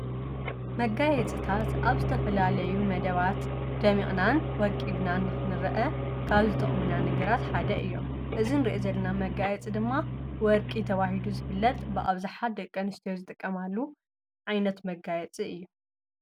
መጋይጽታት ኣብ ዝተፈላለዩ መደባት ደሚቕናን ወቂብናን ኽንርአ ካብ ዝጠኦምና ነገራት ሓደ እዮም እዝን ሬእዘልና መጋየጽ ድማ ወርቂ ተባሂሉ ዝፍለጥ ብኣብዛሓት ደቀኣንስትዮ ዝጠቀማሉ ዓይነት መጋየጽ እዩ።